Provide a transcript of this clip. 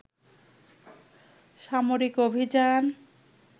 সামরিক অভিযান